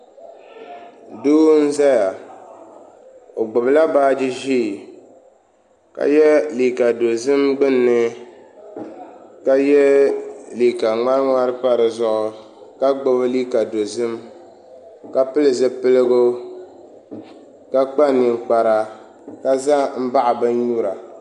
Doo n ʒɛya o gbubila baaji ʒiɛ ka yɛ liiga dozim gbunni ka yɛ liiga ŋmari ŋmari pa dizuɣu ka gbubi liiga dozim ka pili zipiligu ka kpa ninkpara ka ʒɛ n baɣa bin nyura